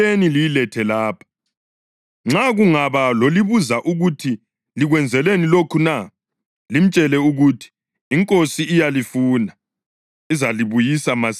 Nxa kungaba lozalibuza ukuthi, ‘Likwenzeleni lokho na?’ limtshele ukuthi, ‘INkosi iyalifuna, izalibuyisa masinyane.’ ”